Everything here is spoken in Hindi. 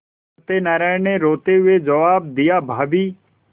सत्यनाराण ने रोते हुए जवाब दियाभाभी